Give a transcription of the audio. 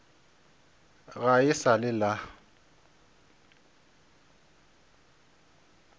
ga e sa le la